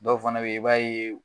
Dɔw fana be ye i b'a ye